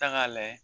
Ta k'a layɛ